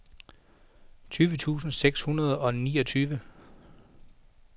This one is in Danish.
tyve tusind seks hundrede og niogtyve